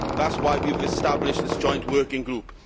That is why we have established the joint working group.